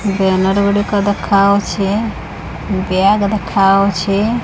Banner ର ଗୁଡ଼ିକ ଦେଖାଯାଉଛି ବ୍ୟାଗ ଦେଖାଯାଉଛି।